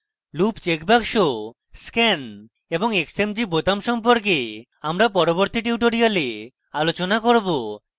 loop check box scan এবং xmg বোতাম সম্পর্কে আমরা পরবর্তী tutorials আলোচনা করব